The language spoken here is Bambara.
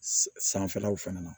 Sanfɛlaw fana na